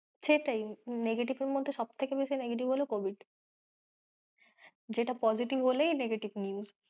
সেটাই, negative এর মধ্যে সব থেকে বেশি negative হল covid যেটা positive হলেই negative news